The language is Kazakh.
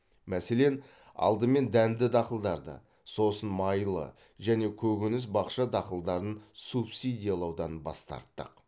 мәселен алдымен дәнді дақылдарды сосын майлы және көкөніс бақша дақылдарын субсидиялаудан бас тарттық